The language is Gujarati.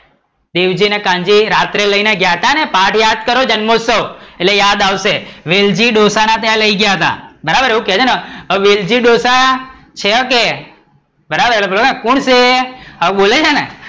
વેલજી ને કાન્જી રાતે લઇ ને ગયા હતા ને પાઠ યાદ કરો જન્મોત્સવ એટલે યાદ આવશે. વેલજી ડોસા ને ત્યાં લઇ ગયા હતા બરાબર ને એવુ કે છે ને હવે વેલજી ડોસા છે કે? બરાબર ને પેલો કે કોણ છે? આવું બોલે છે ને?